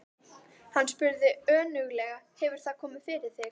Hann spurði önuglega: Hefur það komið fyrir þig?